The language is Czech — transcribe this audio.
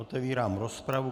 Otevírám rozpravu.